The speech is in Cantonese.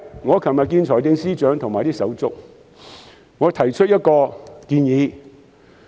我昨天與財政司司長和他的同事會面，我提出了一項建議。